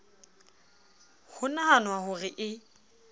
ho nahanwa ho re e